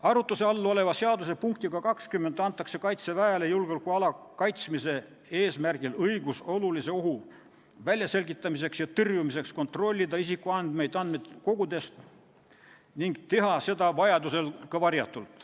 Arutluse all oleva seaduse punktiga 20 antakse Kaitseväele julgeolekuala kaitsmise eesmärgil õigus olulise ohu väljaselgitamiseks ja tõrjumiseks kontrollida isikuandmeid andmekogudest ning teha seda vajaduse korral ka varjatult.